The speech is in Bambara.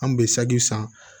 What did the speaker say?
An kun be sagi san